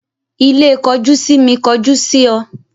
Ilé kojú sími kọjú sí ọ